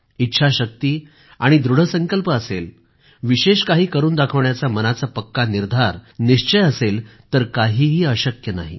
इच्छाशक्ती आणि दृढ संकल्प असेल विशेष काही करून दाखवण्याचा मनाचा पक्का निर्धार निश्चय असेल तर काहीही अशक्य नाही